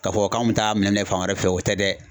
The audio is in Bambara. K'a fɔ k'an bɛ taa minɛ minɛ fan wɛrɛ fɛ o tɛ dɛ.